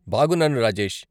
బాగున్నాను రాజేష్.